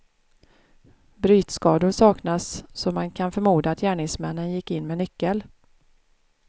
Brytskador saknas så man kan förmoda att gärningsmännen gick in med nyckel.